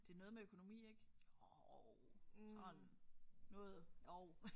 Det er noget med økonomi ik jo sådan noget jo